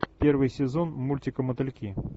первый сезон мультика мотыльки